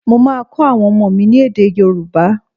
Mo máa kọ́ àwọn ọmọ mi ni èdè yóòbá